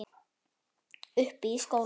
Uppi í skóla?